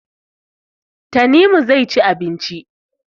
Tanimu zai ci abinci.